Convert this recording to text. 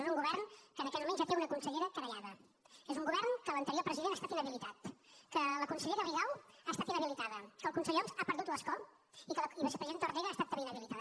és un govern que en aquests moments ja té una consellera querellada és un govern de què l’anterior president ha estat inhabilitat de què la consellera rigau ha estat inhabilitada de què el conseller homs ha perdut l’escó i de què la vicepresidenta ortega ha estat també inhabilitada